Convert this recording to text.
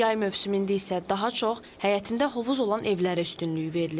Yay mövsümündə isə daha çox həyətində hovuz olan evlərə üstünlük verilir.